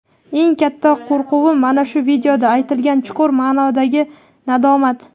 eng katta qo‘rquvim mana shu videoda aytilgan chuqur maʼnodagi nadomat.